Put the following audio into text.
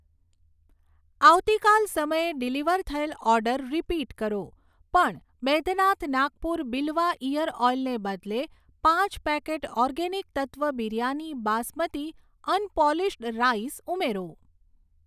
આવતીકાલ સમયે ડિલિવર થયેલ ઓર્ડર રીપીટ કરો, પણ બૈદ્યનાથ નાગપુર બીલવા ઈયર ઓઈલ ને બદલે પાંચ packet organic Tattva biryani basmati unpolished rice ઉમેરો.